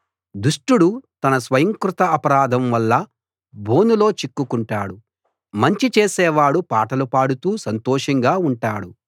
దుష్టుడు తన స్వయంకృతాపరాధం వల్ల బోనులో చిక్కుకుంటాడు మంచి చేసేవాడు పాటలుపాడుతూ సంతోషంగా ఉంటాడు